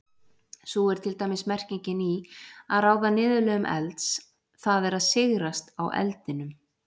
Sú er til dæmis merkingin í að ráða niðurlögum elds, það er sigrast á eldinum.